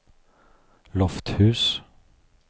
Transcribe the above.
Lofthus